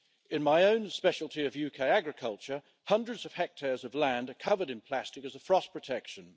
In my own speciality, of UK agriculture, hundreds of hectares of land are covered in plastic as a frost protection.